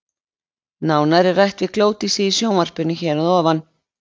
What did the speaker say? Nánar er rætt við Glódísi í sjónvarpinu hér að ofan.